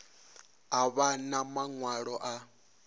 a vha na maṅwalo a